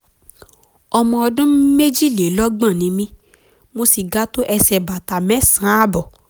ọmọ ọdún méjìlélọ́gbọ̀n ni mí mo sì ga tó ẹsẹ̀ bàtà mẹ́sàn-án àtààbọ̀